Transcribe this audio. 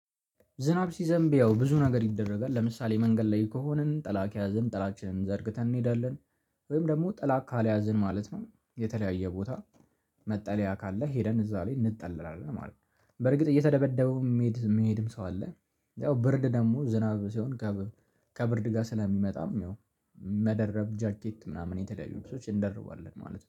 ዝናብ ሲዘንብ ያው ብዙ ነገር ይደረጋል ለምሳሌ መንገድ ላይ ከሆንን ጥላ ከያዘን ጠላትን ዘርግተን እንሄዳለን። ወይም ደግሞ ጠላት ካልያዝን ማለት ነው የተለያየ ቦታ መጠለያ ካለ ሄደን እዛ ላይ እንጠለላለን ማለት ነው። በርግጥ እየተደበደቡ የሚሄድ የሚሄድም ሰው አለ። ያው ብርድ ደግሞ ዝናብ ሲሆን ከብርድ ጋር ስለሚመጣም ይኸው። መደረብ ጃኬት ምናምን የተለያዩ ልብሶች እንደርባለን ማለት ነው